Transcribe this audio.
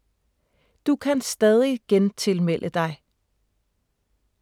Du kan stadig gentilmelde dig